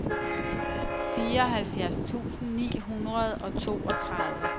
fireoghalvfjerds tusind ni hundrede og toogtredive